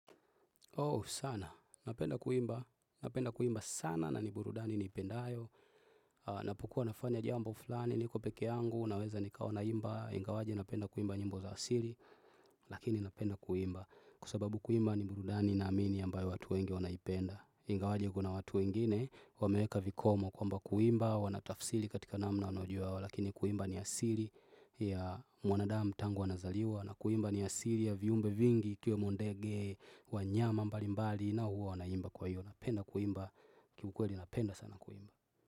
Oh sana, napenda kuimba, napenda kuimba sana na ni burudani niipendayo Napokua nafanya jambo fulani, niko peke yangu, naweza nikawa naimba Ingawaje napenda kuimba nyimbo za asili, lakini napenda kuimba Kwa sababu kuimba ni burudani naamini ambayo watu wengi wanaipenda Ingawaje kuna watu wengine, wameweka vikomo kwamba kuimba, wanatafsiri katika namna wanaojua Lakini kuimba ni asili ya mwanadamu tangu wanazaliwa na kuimba ni asili ya viumbe vingi, ikiwemo ndege, wanyama mbali mbali na huwa wanaimba kwa hiyo. Wanapenda kuimba, kiukweli napenda sana kuimba.